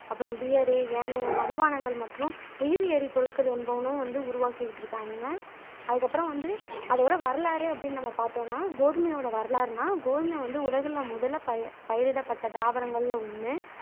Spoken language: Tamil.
அப்புறம் பியரு ஏனைய மதுபானங்கள் மற்றும் உயிரி எரிப்பொருள்கள் என்பவனும் வந்து உருவாக்கிக்கிட்டு இருக்காங்கங்க அதுக்கு அப்புறம் வந்து அதோட வரலாறு அப்பிடினு நம்ம பாத்தோம்னா கோதுமையோட வரலாறுனா கோதுமை வந்து உலகுல முதல்ல பயிரிடப்பட்ட தாவரங்கள்ல ஒன்னு